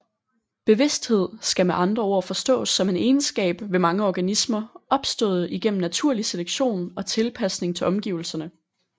Bevidsthed skal med andre ord forstås som en egenskab ved mange organismer opstået igennem naturlig selektion og tilpasning til omgivelserne